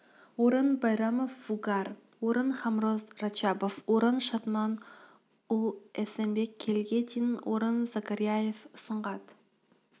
орын байрамов вугар орын хамроз рачабов орын шатман уулу эсенбек келіге дейін орын закарияев сұңғат